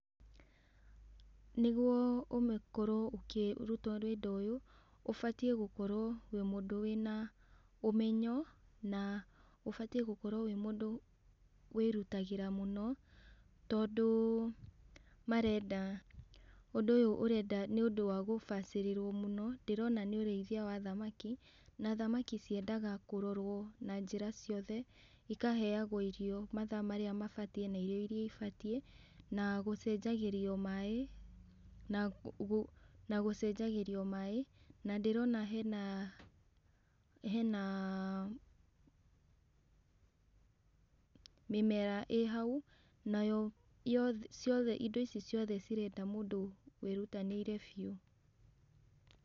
Nĩguo ũkorwo ũkĩruta ũndũ ũyũ, ũbatiĩ gũkorwo wĩ mũndũ wĩna ũmenyo, na ũbatiĩ gũkorwo wĩ mũndũ wĩrutagĩra mũno, tondũ marenda, ũndũ ũyũ ũrenda nĩũndũ wa gũbacĩrĩrwo mũno, ndĩrona nĩ ũrĩithia wa thamaki, na thamaki ciendaga kũrorwo na njĩra ciothe, ikaheagwo irio mathaa marĩa mabatie, irio iria ibatiĩ, na gũcenjagĩrio maĩ, na gũ na gũcenjagĩrio maĩ, na ndĩrona hena, hena mĩmera ĩ hau, nayo yothe ciothe indo ici ciothe cirenda mũndũ wĩrutanĩirie biũ.